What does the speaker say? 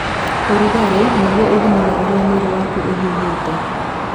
Ũrugarĩ, nĩguo ũthimaga ũrĩa mwĩrĩ waku ũhiũhĩte.